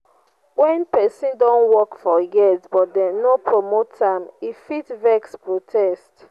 when person don work for years but dem no promote am e fit vex protest